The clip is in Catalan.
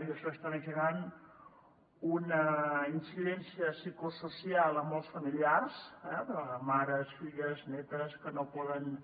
i això està generant una incidència psicosocial a molts familiars eh mares filles netes que no poden